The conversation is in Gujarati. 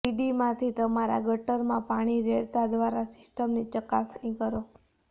સીડીમાંથી તમારા ગટરમાં પાણી રેડતા દ્વારા સિસ્ટમની ચકાસણી કરો